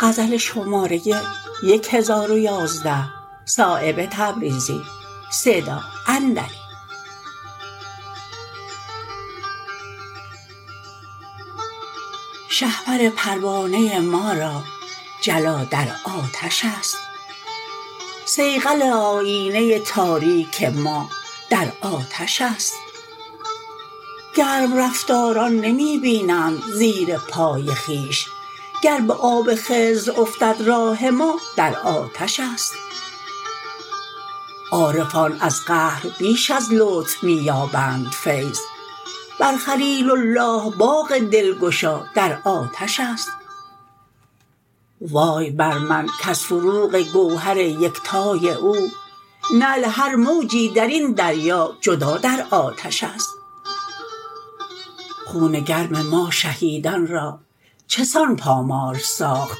شهپر پروانه ما را جلا در آتش است صیقل آیینه تاریک ما در آتش است گرم رفتاران نمی بینند زیر پای خویش گر به آب خضر افتد راه ما در آتش است عارفان از قهر بیش از لطف می یابند فیض بر خلیل الله باغ دلگشا در آتش است وای بر من کز فروغ گوهر یکتای او نعل هر موجی درین دریا جدا در آتش است خون گرم ما شهیدان را چسان پامال ساخت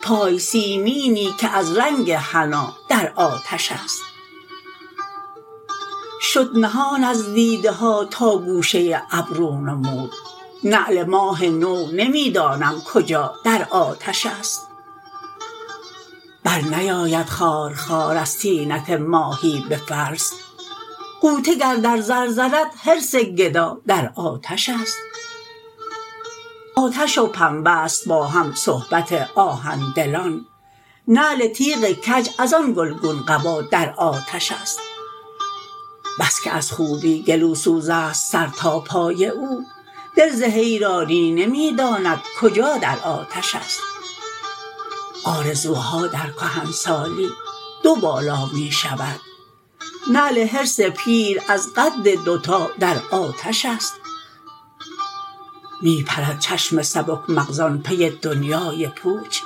پای سیمینی که از رنگ حنا در آتش است شد نهان از دیده ها تا گوشه ابرو نمود نعل ماه نو نمی دانم کجا در آتش است برنیاید خارخار از طینت ماهی به فلس غوطه گر در زر زند حرص گدا در آتش است آتش و پنبه است با هم صحبت آهن دلان نعل تیغ کج ازان گلگون قبا در آتش است بس که از خوبی گلوسوزست سر تا پای او دل ز حیران نمی داند کجا در آتش است آرزوها در کهنسالی دو بالا می شود نعل حرص پیر از قد دو تا در آتش است می پرد چشم سبک مغزان پی دنیای پوچ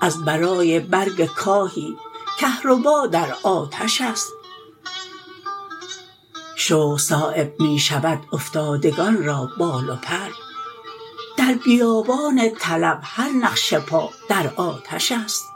از برای برگ کاهی کهربا در آتش است شوق صایب می شود افتادگان را بال و پر در بیابان طلب هر نقش پا در آتش است